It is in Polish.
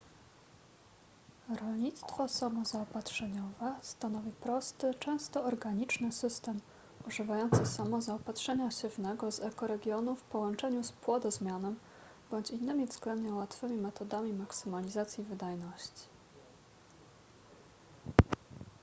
rolnictwo samozaopatrzeniowe stanowi prosty często organiczny system używający samozaopatrzenia siewnego z ekoregionu w połączeniu z płodozmianem bądź innymi względnie łatwymi metodami maksymalizacji wydajności